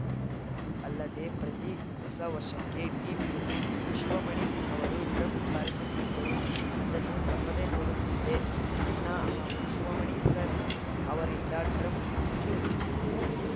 ಅಲ್ಲದೆ ಪ್ರತಿ ಹೊಸ ವರ್ಷಕ್ಕೆ ಟಿವಿಯಲ್ಲಿ ಶಿವಮಣಿ ಅವರು ಡ್ರಮ್‌ ಬಾರಿಸುತ್ತಿದ್ದರು ಅದನ್ನು ತಪ್ಪದೇ ನೋಡುತ್ತಿದ್ದೆ ಅಣ್ಣ ಹಾಗೂ ಶಿವಮಣಿ ಸರ್‌ ಅವರಿಂದ ಡ್ರಮ್‌ ಹುಚ್ಚು ಹೆಚ್ಚಿಸಿತು